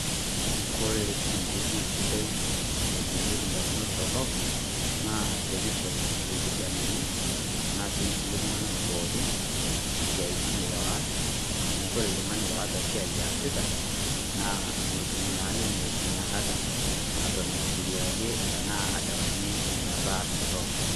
Kore enkotoi sidai naibuiyoki damunot torrok naa teneishori lkijanani tenaa sii nkulee iltung'anak pooki esiatin oas amu kore iltung'ani oata siai asiita naa metuum naa ninye enyakata natoon afikiriaye tanaa adamunye nenia baya torrok.